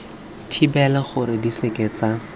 thibela gore di seke tsa